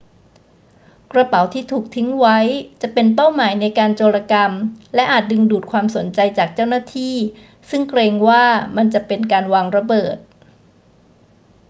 กระเป๋าที่ถูกทิ้งไว้จะเป็นเป้าหมายในการโจรกรรมและอาจดึงดูดความสนใจจากเจ้าหน้าที่ซึ่งเกรงว่ามันจะเป็นการวางระเบิด